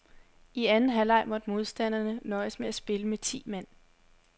I anden halvleg måtte modstanderne nøjes med at spille med ti mand.